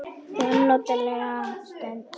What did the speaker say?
Það var notaleg stund.